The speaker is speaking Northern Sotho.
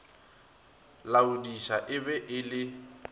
laodiša e be e le